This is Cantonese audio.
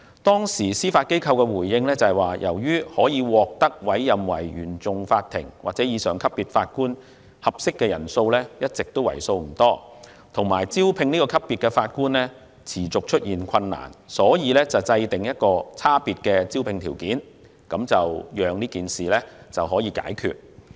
當時司法機構的回應是，由於可獲委任為原訟法庭或以上級別法官的合適人選一直為數不多，以及招聘這個級別的法官持續出現困難，所以制訂有差別的招聘條件，讓事情得到解決。